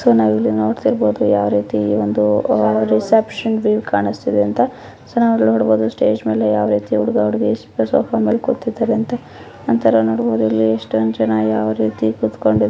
So ನಾವು ಇಲ್ಲಿ ನೋಡತಿರಬಹುದು ಯಾವರೀತಿ ಒಂದು ರಿಸೆಪ್ಷನ್ ವ್ಯೂ ಕಾಣುಸ್ತಿದೆ ಅಂತ ಸೊ ನಾವು ಇಲ್ಲಿ ನೋಡಬಹುದು ಸ್ಟೇಜ್ ಮೇಲೆ ಯಾವರೀತಿ ಹುಡುಗ ಹುಡುಗಿ ಸೋಫಾ ಮೆಲೆ ಕುತಿದರೆ ಅಂತ ನಂತರ ನೋಡಬಹುದು ಇಲ್ಲಿ ಎಷ್ಟೊಂದು ಜನ ಯಾವರೀತಿ ಕುತುಕೊಂಡಿದರೆ.